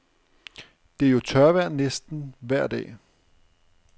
Det er jo tørvejr næsten vejr dag.